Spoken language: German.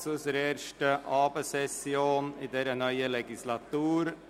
Ich begrüsse Sie zur ersten Abendsession in dieser Legislatur.